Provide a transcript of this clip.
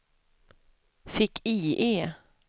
fick-IE